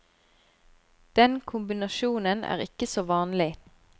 Den kombinasjonen er ikke så vanlig.